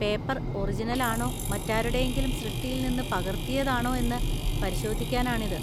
Paper ഒറിജിനലാണോ മറ്റാരുടെയെങ്കിലും സൃഷ്ടിയിൽ നിന്ന് പകർത്തിയതാണോ എന്ന് പരിശോധിക്കാനാണിത്.